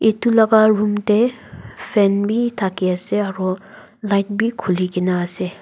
edu laka room tae fan bi thaki ase aro light bi khuli kaena ase.